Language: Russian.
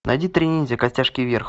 найди три ниндзя костяшки вверх